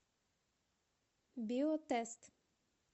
биотест